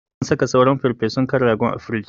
Zan saka sauran farfesun kan rago a frij.